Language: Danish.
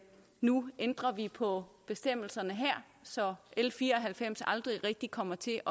nu ændrer på bestemmelserne her så l fire og halvfems aldrig rigtig kommer til